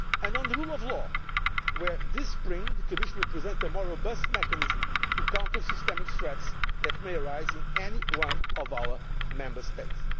on the rule of law, where this spring the Commission will present a more robust mechanism to counter systemic threats that may arise in any one of our Member States